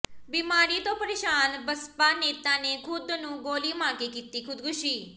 ਬੀਮਾਰੀ ਤੋਂ ਪਰੇਸ਼ਾਨ ਬਸਪਾ ਨੇਤਾ ਨੇ ਖੁਦ ਨੂੰ ਗੋਲੀ ਮਾਰ ਕੇ ਕੀਤੀ ਖੁਦਕੁਸ਼ੀ